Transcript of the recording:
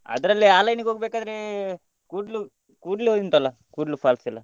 ಅದ್ರಲ್ಲಿ ಆ line ಗೆ ಹೋಗ್ಬೇಕಾದ್ರೆ ಆ ಕಡೆ Koodlu Koodlu ಉಂಟಲ್ಲ Koodlu falls ಎಲ್ಲ.